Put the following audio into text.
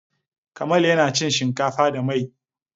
Kamal yana cin shinkafa da mai.